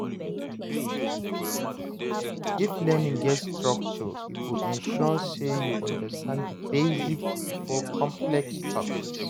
If learning get structure e go ensure say you understand the basics before complex topics.